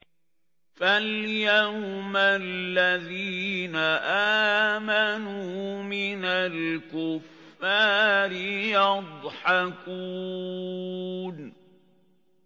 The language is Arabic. فَالْيَوْمَ الَّذِينَ آمَنُوا مِنَ الْكُفَّارِ يَضْحَكُونَ